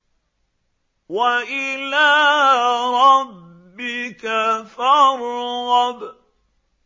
وَإِلَىٰ رَبِّكَ فَارْغَب